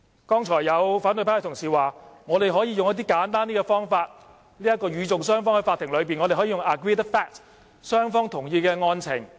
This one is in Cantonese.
剛才有反對派同事說，我們可以使用較簡單的方法，與訟雙方在法庭內可以使用 agreed fact， 即雙方同意的案情。